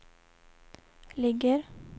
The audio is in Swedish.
ligger